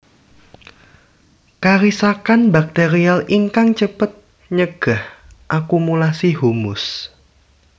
Karisakan bakterial ingkang cepet nyegah akumulasi humus